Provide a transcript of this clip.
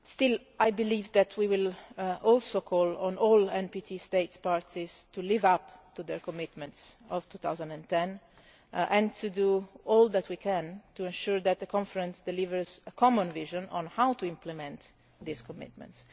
However, I believe that we will also call on all NPT States Parties to live up to their commitments of 2010 and to do all that we can to ensure that the Conference delivers a common vision on how to implement these commitments.